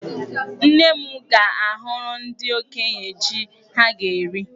Nne m ga-ahụrụ ndị okenye jí ha ga-eri.